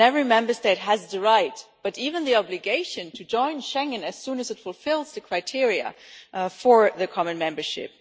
Every Member State has the right, but even the obligation, to join Schengen as soon as it fulfils the criteria for the common membership.